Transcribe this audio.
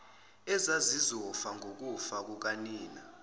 ezazizofa ngokufa kukanina